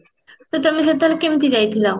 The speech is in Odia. ତ ତମେ ସେତେବେଳେ କେମିତି ଯାଇଥିଲ?